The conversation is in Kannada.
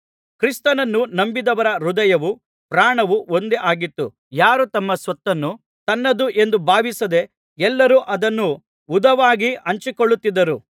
ಕ್ರಿಸ್ತನನ್ನು ನಂಬಿದವರ ಹೃದಯವೂ ಪ್ರಾಣವೂ ಒಂದೇ ಆಗಿತ್ತು ಯಾರೂ ತಮ್ಮ ಸ್ವತ್ತನ್ನು ತನ್ನದು ಎಂದು ಭಾವಿಸದೆ ಎಲ್ಲರೂ ಅದನ್ನು ಹುದುವಾಗಿ ಹಂಚಿಕೊಳ್ಳುತ್ತಿದ್ದರು